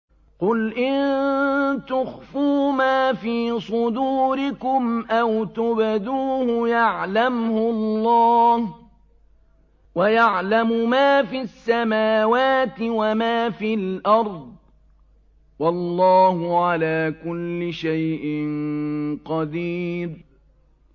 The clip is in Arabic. قُلْ إِن تُخْفُوا مَا فِي صُدُورِكُمْ أَوْ تُبْدُوهُ يَعْلَمْهُ اللَّهُ ۗ وَيَعْلَمُ مَا فِي السَّمَاوَاتِ وَمَا فِي الْأَرْضِ ۗ وَاللَّهُ عَلَىٰ كُلِّ شَيْءٍ قَدِيرٌ